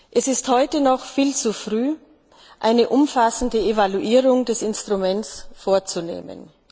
Es ist heute noch viel zu früh, um eine umfassende Evaluierung des Instruments vorzunehmen.